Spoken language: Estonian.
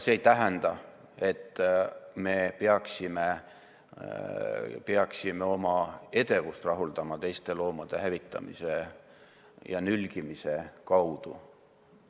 See ei tähenda, et me peaksime oma edevust rahuldama teiste loomade hävitamise ja nülgimise kaudu.